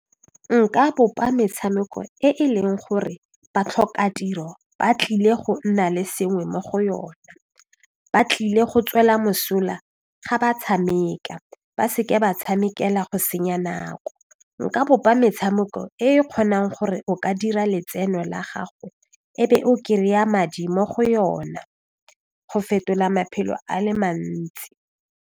Nka bopa metshameko e e leng gore batlhokatiro ba tlile go nna le sengwe mo go yona ba tlile go tswela mosola ga ba tshameka ba se ka ba tshamekela go senya nako nka bopa metshameko e e kgonang gore o ka dira letseno la gago e be o kry-a madi mo go yona go fetola maphelo a le mantsi.